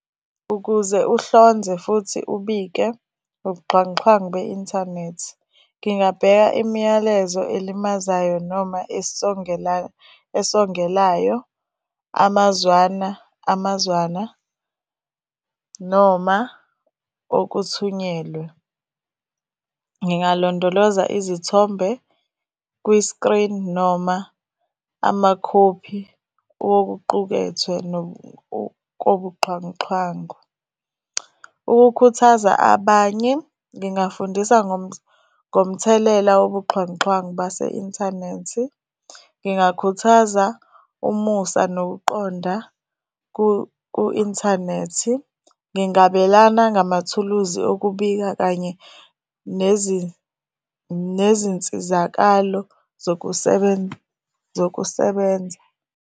Ukuze uhlonze futhi ubike ubuxhwanguxhwangu be-inthanethi. Ngingabheka imiyalezo elimazayo noma esongelayo amazwana amazwana noma okuthunyelwe. Ngingalondoloza izithombe kwi-screen noma amakhophi okuqukethwe kobuxhwanguxhwangu. Ukukhuthaza abanye, ngingafundisa ngomthelela wobuxhwanguxhwangu base-inthanethi. Ngingakhuthaza umusa nokuqonda ku-inthanethi. Ngingabelana ngamathuluzi okubika kanye nezinsizakalo zokusebenza.